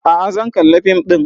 A'a zan kalla fim ɗin